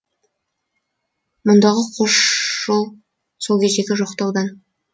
мұндағы қос жол сол кездегі жоқтаудан